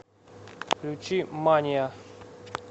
включи мания